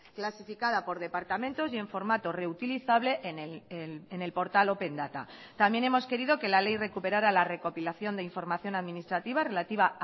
clasificada por departamentos y en formato reutilizable en el portal open data también hemos querido que la ley recuperara la recopilación de información administrativa relativa